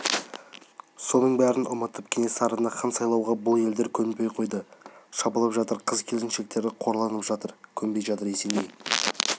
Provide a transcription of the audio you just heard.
соның бәрін ұмытып кенесарыны хан сайлауға бұл елдер көнбей қойды шабылып жатыр қыз-келіншектері қорланып жатыр көнбей жатыр есеней